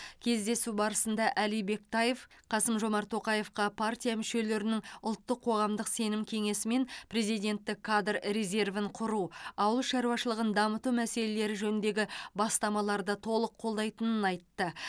кездесу барысында әли бектаев қасым жомарт тоқаевқа партия мүшелерінің ұлттық қоғамдық сенім кеңесі мен президенттік кадр резервін құру ауыл шаруашылығын дамыту мәселелері жөніндегі бастамаларды толық қолдайтыны айтты